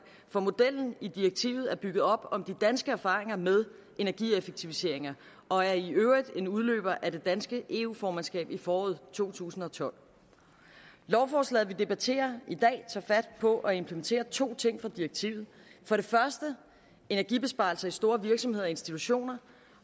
for modellen i direktivet er bygget op om de danske erfaringer med energieffektiviseringer og er i øvrigt en udløber af det danske eu formandskab i foråret to tusind og tolv lovforslaget vi debatterer i dag tager fat på at implementere to ting fra direktivet for det første energibesparelse i store virksomheder og institutioner